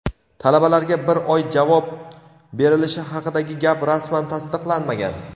Talabalarga bir oy javob berilishi haqidagi gap rasman tasdiqlanmagan.